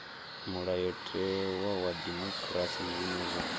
mulayotewa wa dimokirasi zwine zwa